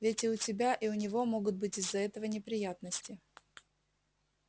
ведь и у тебя и у него могут быть из-за этого неприятности